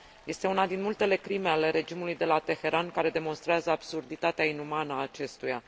Este una din multele crime ale regimului de la Teheran, care demonstrează absurditatea inumană a acestuia.